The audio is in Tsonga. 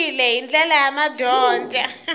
andlariwile hi ndlela ya madyondza